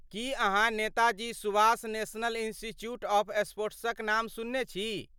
की अहाँ Netaji Subhash national institute of स्पोर्ट्सक नाम सुनने छी?